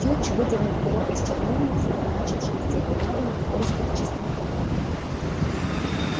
филч выдернул перо из чернильницы и начал шелестеть бумагами в поисках чистого пергамента